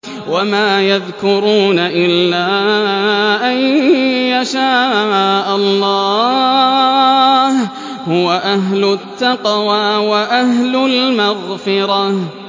وَمَا يَذْكُرُونَ إِلَّا أَن يَشَاءَ اللَّهُ ۚ هُوَ أَهْلُ التَّقْوَىٰ وَأَهْلُ الْمَغْفِرَةِ